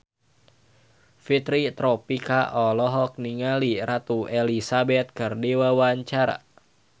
Fitri Tropika olohok ningali Ratu Elizabeth keur diwawancara